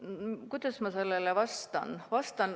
Kuidas ma sellele vastan?